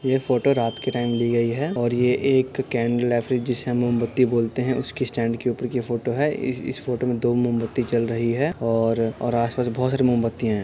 ये फोटो रात के टाइम ली गई हैं और ये एक यह कैंडल जिसे हम मोमबत्ती बोलते हैं उसकी स्टैंड के ऊपर की फोटो है इस इस फोटो में दो मोमबत्ती जल रही है और और आसपास बहुत सारी मोमबतियाँ हैं।